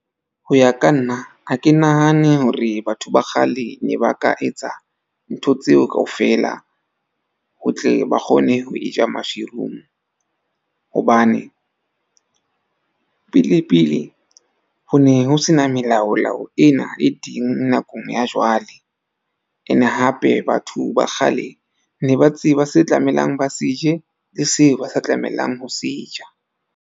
Ho ya ka nna ha ke nahane hore batho ba kgale ne ba ka etsa ntho tseo kaofela, ho tle ba kgone ho e ja mushroom. Hobane pele pele ho ne ho sena melaolao ena e teng nakong ya jwale. Ene hape, batho ba kgale ne ba tseba se tlamelang ba se je le seo ba sa tlamelang ho se ja.